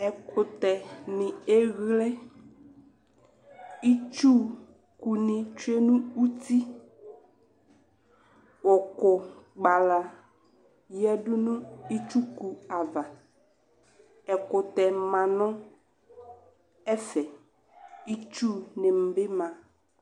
Ɛkʋtɛni eyle Itsuku ni tsue n'uti Ʋkʋ kpala yǝdʋ nʋ itsuku ava Ɛkʋtɛ ma nʋ ɛfɛ, istuni bi ma